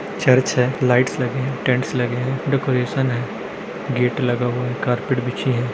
Church है lights लगे है टेंट लगे हैं डेकोरेशन है गेट लगा हुआ है कार्पेट बिछी है।